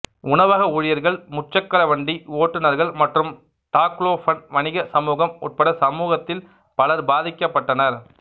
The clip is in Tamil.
உணவக ஊழியர்கள் முச்சக்கர வண்டி ஓட்டுநர்கள் மற்றும் டாக்லோபன் வணிக சமூகம் உட்பட சமூகத்தில் பலர் பாதிக்கப்பட்டனர்